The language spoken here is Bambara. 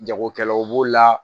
Jagokɛlaw b'o la